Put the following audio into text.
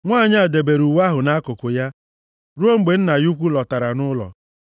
Nwanyị a debere uwe ahụ nʼakụkụ ya ruo mgbe nna ya ukwu lọtara nʼụlọ.